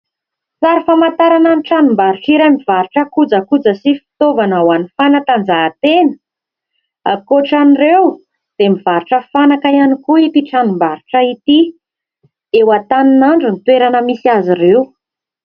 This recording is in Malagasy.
Sary famantarana ny tranom-barotra iray mivarotra kojakoja sy fitaovana ho an'ny fanatanjahatena ; ankoatra an'ireo dia mivarotra fanaka ihany koa ity tranom-barotra ity. Eo Antaninandro ny toerana misy azy ireo.